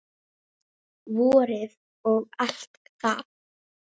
Vorið og allt það.